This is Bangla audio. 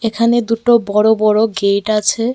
এখানে দুটো বড় বড় গেট আছে।